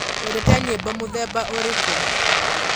wendete nyĩĩmbo mũthemba ũrĩkũ?